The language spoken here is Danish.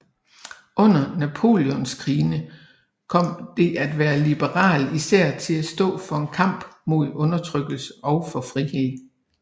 Under Napoleonskrigene kom det at være liberal især til at stå for en kamp mod undertrykkelse og for frihed